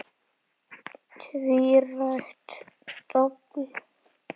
Tvírætt dobl.